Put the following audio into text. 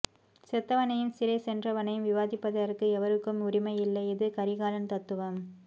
செத்தவனையும் சிறை சென்றவனையும் விவாதிப்பதற்க்கு எவருக்கும் உரிமை இல்லை இது கரிகாலன் தத்துவம்